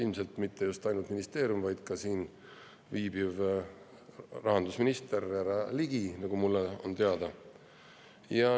Ja mitte ainult ministeerium, vaid ka siin viibiv rahandusminister härra Ligi, nagu mulle on teada.